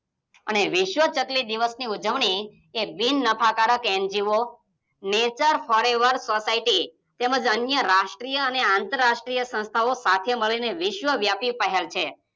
અને વિશ્વ ચકલી દિવસની ઉજવણી ઈ બિન નફા કારક N_G_O નેચર ફોરએવર સોસાયટી, તેમજ અન્ય રાષ્ટ્રીય અને આતર્રાષ્ટ્રીય સંસ્થાઓ સાથે મળીને વિસ્વ વ્યાપી પહેલ છે.